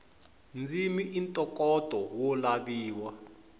ndzimi i ntokoto wo laviwa